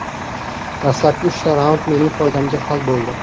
Dastlabki uchta raund mening foydamga hal bo‘ldi.